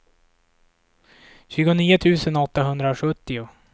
tjugonio tusen åttahundrasjuttio